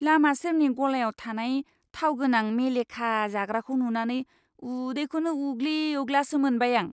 लामा सेरनि गलायाव थानाय थाव गोनां मेलेखा जाग्राखौ नुनानै उदैखौनो उग्लि उग्लासो मोनबाय आं।